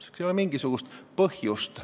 Selleks ei ole mingisugust põhjust.